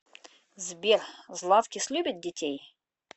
сбер златкис любит детей